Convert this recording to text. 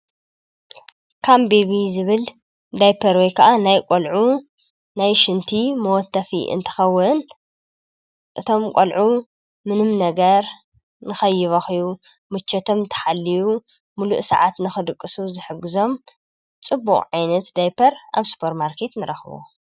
ካም ቤቢ ዝብል ዳይፐር ወይ ከዓ ናይ ቈልዑ ናይ ሽንቲ መወተፊ እንተኸውን፣ እቶም ቈልዑ ምንም ነገር ንኸይበኽዩ ምችቶም ተሓልዩ ምሉእ ሰዓት ንኽድቅሱ ዝሕግዞም ጽቡቅ ዓይነት ዳይፐር ኣብ ስፖር ማርኬት ንረኽቦ።